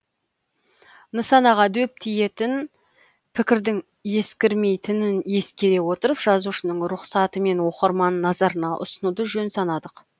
нысанаға дөп тиетін пікірдің ескірмейтінін ескере отырып жазушының рұқсатымен оқырман назарына ұсынуды жөн санадық